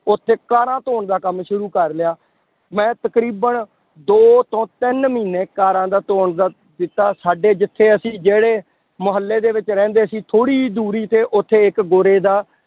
ਉੱਥੇ ਕਾਰਾਂ ਧੌਣ ਦਾ ਕੰਮ ਸ਼ੁਰੂ ਕਰ ਲਿਆ, ਮੈਂ ਤਕਰੀਬਨ ਦੋ ਤੋਂ ਤਿੰਨ ਮਹੀਨੇ ਕਾਰਾਂ ਦਾ ਧੌਣ ਦਾ ਦਿੱਤਾ ਸਾਡੇ ਜਿੱਥੇ ਅਸੀਂ ਜਿਹੜੇ ਮੁਹੱਲੇ ਦੇ ਵਿੱਚ ਰਹਿੰਦੇ ਸੀ ਥੋੜ੍ਹੀ ਜਿਹੀ ਦੂਰੀ ਤੇੇ ਉੱਥੇ ਗੋਰੇ ਦਾ